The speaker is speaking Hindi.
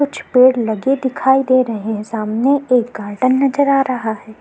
कुछ पेड़ लगे दिखाई दे रहे हैं सामने एक गार्डन नजर आ रहा है।